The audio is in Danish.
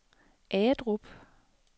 Agedrup